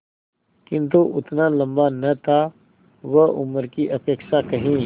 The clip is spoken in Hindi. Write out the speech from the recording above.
किंतु उतना लंबा न था वह उम्र की अपेक्षा कहीं